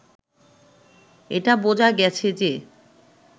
এটা বোঝা গেছে যে